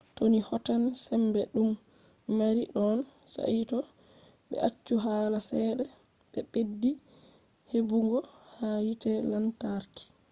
to ni hotan sembe je ɗum mari no saito ɓe acci hala ceede ɓe ɓeddi heɓugo ha hite lantarki